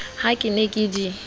ha ke ne ke di